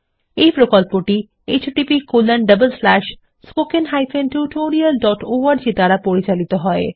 এই প্রকল্পটি httpspoken tutorialorg দ্বারা পরিচালিত হয়